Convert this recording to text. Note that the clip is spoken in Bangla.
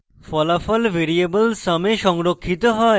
ফলাফল ভ্যারিয়েবল sum এ সংরক্ষিত হয়